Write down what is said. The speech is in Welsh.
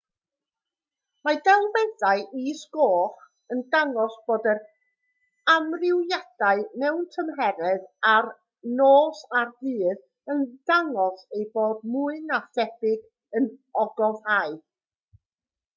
mae delweddau is-goch yn dangos bod yr amrywiadau mewn tymheredd o'r nos a'r dydd yn dangos eu bod mwy na thebyg yn ogofâu